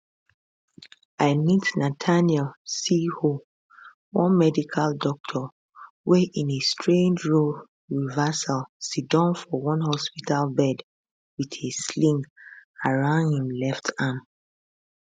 i meet nathaniel cirho one medical doctor wey in a strange role reversal sidon for one hospital bed with a sling around im left arm